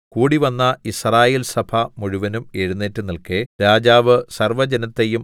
കൂടിവന്ന യിസ്രായേൽസഭ മുഴുവനും എഴുന്നേറ്റ് നില്‍ക്കെ രാജാവ് സർവ്വജനത്തെയും